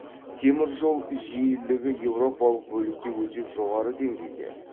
теміржол жиілігі еуропалық бөлікте өте жоғары деңгейде